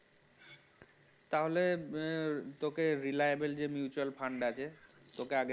তাহলে আহ তোকে reliable mutual fund আছে